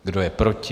Kdo je proti?